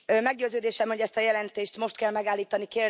Meggyőződésem, hogy ezt a jelentést most kell megállítani.